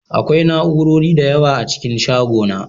Akwai na'urori da yawa a cikin shagona